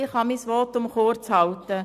Ich kann mein Votum kurzhalten.